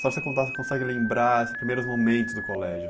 Só você consegue lembrar esses primeiros momentos do colégio.